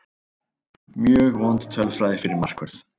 Mjög vond tölfræði fyrir markvörð.